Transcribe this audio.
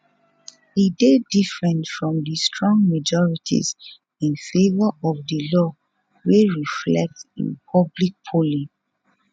e dey different from di strong majorities in favour of di law wey reflect in public polling